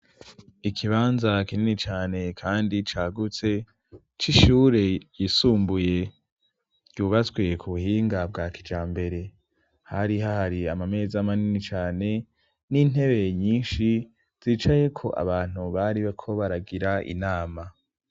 Ikibanza kinini cane kandi cagutse c'ishure ryisumbuye ryubatswe ku buhinga bwa kijambere. Hari hahari amameza amanini cane n'intebe nyinshi zicayeko abantu bariko baragira inama.